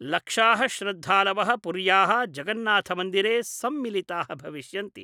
लक्षा: श्रद्धालव: पुर्या: जगन्नाथ मन्दिरे सम्मिलिता: भविष्यन्ति।